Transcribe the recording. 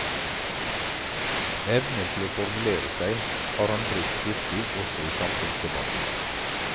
Evnen til å formulere seg har han brukt flittig også i samfunnsdebatten.